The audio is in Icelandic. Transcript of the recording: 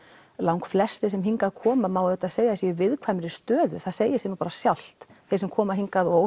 langflestir sem hingað koma má auðvitað segja að séu í viðkvæmri stöðu það segir sig nú bara sjálft þeir sem koma hingað og